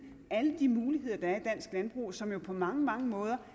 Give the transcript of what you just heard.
alle de muligheder der er i dansk landbrug som jo på mange mange måder